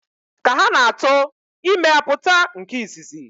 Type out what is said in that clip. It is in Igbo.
Ka ha na-ato, ime apụta nke izizi.